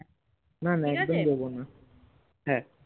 না না অদ্দম দেবোনা